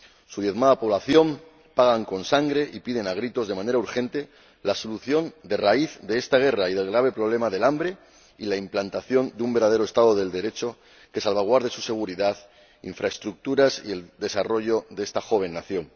Su diezmada población paga con sangre y pide a gritos, de manera urgente, la solución de raíz de esta guerra y del grave problema del hambre, y la implantación de un verdadero Estado de Derecho que salvaguarde su seguridad, las infraestructuras y el desarrollo de esta joven nación.